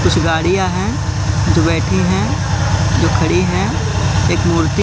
कुछ गाड़ियां है जो बैठी है जो खड़ी है एक मूर्ति--